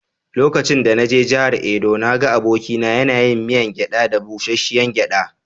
Lokacin da na je jihar Edo, na ga abokina yana yin miyan gyada da busasshiyar gyada.